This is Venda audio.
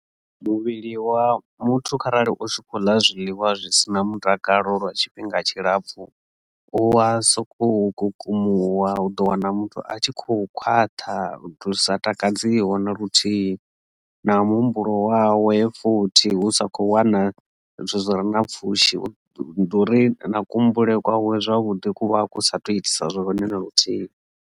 Muvhili wa muthu kharali u swika u ḽa zwiḽiwa zwi si na mutakalo lwa tshifhinga tshilapfhu u wa soko kukumuwa u ḓo wana muthu a tshi khou khwaṱha lusa takadziho na luthihi na muhumbulo wawe futhi hu sa kho wana zwithu zwi re na pfhushi ndi uri na kuhumbulele kwawe zwavhuḓi kuvha ku sa kho tou itisa zwone na luthihi.